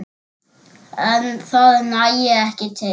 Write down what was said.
En það nægi ekki til.